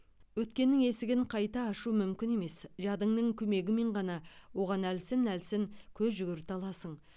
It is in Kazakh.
өткеннің есігін қайта ашу мүмкін емес жадыңның көмегімен ғана оған әлсін әлсін көз жүгірте аласың